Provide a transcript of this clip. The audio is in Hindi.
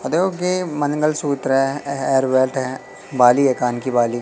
मनगल सूत्र है। हेयरबेल्ट है। बालि है कान की बाली।